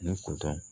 Ni